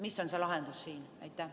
Mis on siin lahendus?